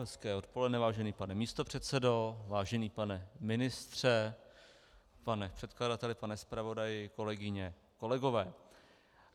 Hezké odpoledne, vážený pane místopředsedo, vážený pane ministře, pane předkladateli, pane zpravodaji, kolegyně, kolegové.